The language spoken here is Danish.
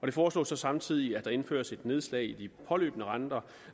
det foreslås så samtidig at der indføres et nedslag i de påløbne renter